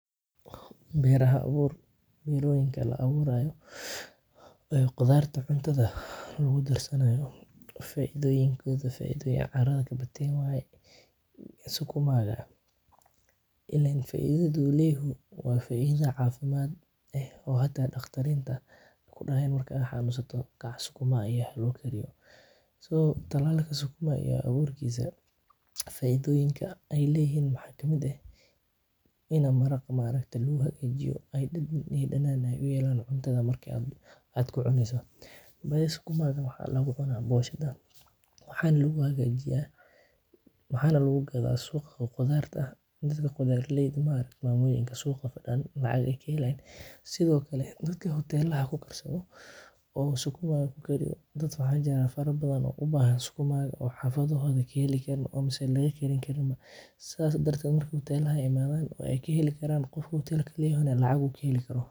Beraha abuur, beroyinka la aburayo ee qudhaarta cuntaadha lagu darsanayo faidooyinkodha faidhoyin caratha kabadhate waye, sukumaga ilen faidhada u leyahay waa faidha cafimaad eh oo hata daqtarinta marki aad xanunsato kudahayin kac sukuma cun iyo halagu kariyo so talalka sukuma iyo aburkisa faidhoyinka ee leyihin waxaa kamiid ah in maraqa ma aragte u hagajiyo ee dadan iyo danan u uyelo marka aad cuntadha ku cuneyso, sukumagan waxaa lagu cuna boshaada waxana lagu hagajiyaa, waxana lagu gadha suqaa qudhaarta dadka qudhaar leyda ma aragte mamoyinka suqa fadan lacag ayey ka helayin, sithokale dadka hotelaha ku karsatho oo sukumaga ku gadho dad waxa jira fara badan oo u bahan sukumaga oo xafadodha oo mase laga heli karin sithas ee hotelaha imadhan wey kaheli karan, qofki hotelka leyahana lacag ayu kaheli kara.